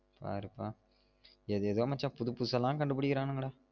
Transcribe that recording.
பாருப்பா ஏதேதோ மச்சான் புதுசு புதுசாலாம் கண்டுபிடிங்கடா